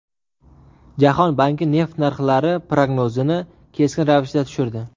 Jahon banki neft narxlari prognozini keskin ravishda tushirdi.